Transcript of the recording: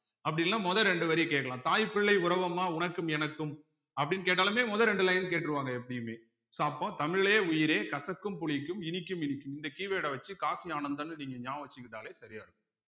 அப்படி இல்லைன்னா முதல் இரண்டு வரி கேட்கலாம் தாய் பிள்ளை உறவும்மா உனக்கும் எனக்கும் அப்படின்னு கேட்டாலுமே முதல் இரண்டு line கேட்டுருவாங்க எப்பயுமே so அப்போ தமிழே உயிரே கசக்கும் புளிக்கும் இனிக்கும் இனிக்கும் இந்த keyword அ வச்சு காசி ஆனந்தன்னு நீங்க ஞாபகம் வச்சுக்கிட்டாலே சரியா இருக்கும்